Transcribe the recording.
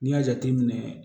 N'i y'a jateminɛ